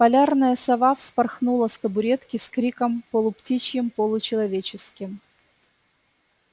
полярная сова вспорхнула с табуретки с криком полуптичьим-получеловеческим